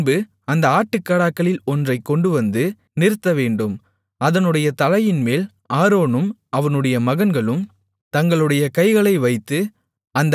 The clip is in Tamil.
பின்பு அந்த ஆட்டுக்கடாக்களில் ஒன்றைக் கொண்டுவந்து நிறுத்தவேண்டும் அதனுடைய தலையின்மேல் ஆரோனும் அவனுடைய மகன்களும் தங்களுடைய கைகளை வைத்து